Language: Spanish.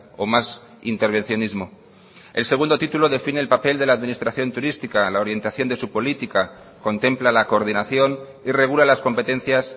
o más intervencionismo el segundo dos define el papel de la administración turística la orientación de su política contempla la coordinación y regula las competencias